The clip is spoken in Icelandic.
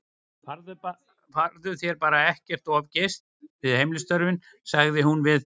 Farðu þér bara ekki of geyst við heimilisstörfin, sagði hún við